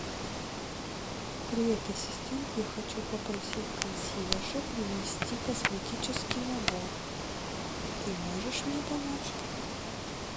привет ассистент я хочу попросить консьержа принести косметический набор ты можешь мне помочь